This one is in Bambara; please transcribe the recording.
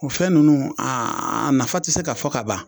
O fɛn nunnu aa a nafa ti se ka fɔ ka ban.